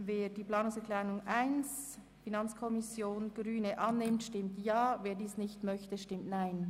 Wer die Planungserklärung 1 annehmen will, stimmt Ja, wer das nicht möchte, stimmt Nein.